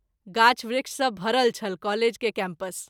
गाछ वृक्ष सँ भरल छल कॉलेज के कैम्पस।